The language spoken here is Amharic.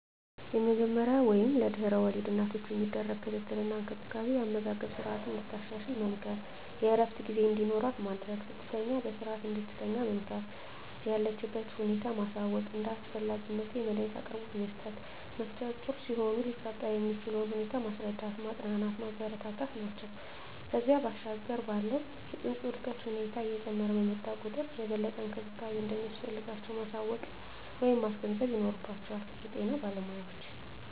የመጀመሪያ ወይም ለድሕረ ወሊድ እናቶች የሚደረግ ክትትል እና እንክብካቤ የአመጋገብ ስረዓትን እንድታሻሽል መምከር፣ የእረፍት ጊዜ እንዲኖራት ማድረግ፣ ስትተኛ በስረዓት እንድትተኛ መምከር፣ የለችበትን ሁኔታ ማሳወቅ፣ እንደ አስፈላጊነቱ የመዳኒት አቅርቦት መስጠት፣ ነፍሰጡር ሲሆኑ ሊፈጠር የሚችለውን ሁኔታ ማስረዳት፣ ማፅናናት፣ ማበረታታት ናቸው። ከዚያ ባሻገር ባለው የፅንሱ የእድገት ሁኔታ እየጨመረ በመጣ ቁጥር የበለጠ እንክብካቤ እንደሚያስፈልጋቸው ማሳወቅ ወይም ማስገንዘብ ይኖርባቸዋል የጤና ባለሞያዎች።